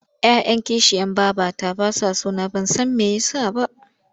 Ya 'yan kishiyar babata ba sa so na ban san me ya sa ba.